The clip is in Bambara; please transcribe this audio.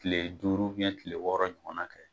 Tile duuru tile wɔɔrɔ ɲɔgɔn kɛ